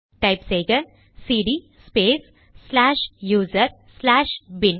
type செய்க cd space slash user slash bin